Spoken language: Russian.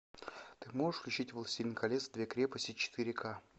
ты можешь включить властелин колец две крепости четыре к